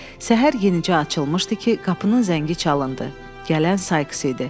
Səhər yenicə açılmışdı ki, qapının zəngi çalındı, gələn Sayks idi.